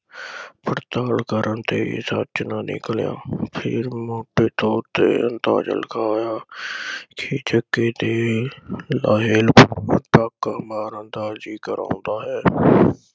ਪਤਾ ਕਰਨ ਤੇ ਇਹ ਸੱਚ ਨਾ ਨਿਕਲਿਆ। ਫਿਰ ਮੌਕੇ ਤੋਂ ਦਾ ਲਿਖਾਇਆ ਕਿ ਜੱਗੇ ਦੇ ਮਾਰਨ ਦਾ ਜਿਕਰ ਆਉਂਦਾ ਹੈ।